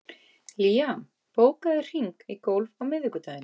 Liam, bókaðu hring í golf á miðvikudaginn.